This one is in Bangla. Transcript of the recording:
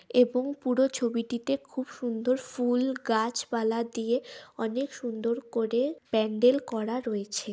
এবং পুরো ছবিটিতে খুব সুন্দর ফুল গাছপালা দিয়ে অনেক সুন্দর করে প্যান্ডেল করা রয়েছে--